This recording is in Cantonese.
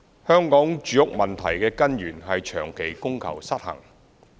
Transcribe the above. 香港住屋問題的根源是長期供求失衡。